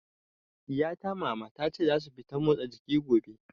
Ɗiya ta Mama, ta ce za su fita motsa jiki gobe.